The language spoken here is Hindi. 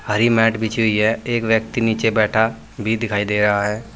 भारी मैट बिछी हुई है एक व्यक्ति नीचे बैठा भी दिखाई दे रहा है।